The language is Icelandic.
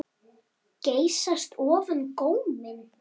Geysast ofan góminn.